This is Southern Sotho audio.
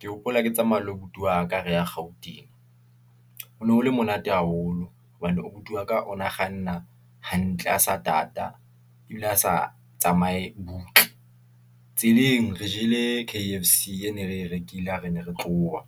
Ke hopola ke tsamaya le abuti wa ka, re ya gauteng ho no hole monate haholo, hobane abuti waka o ne a kganna hantle, a sa tata, ebile a sa tsamaye butle. Tseleng re jele K_F_C, e ne re e rekile ha re ne re tloha ,